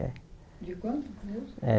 De quantos?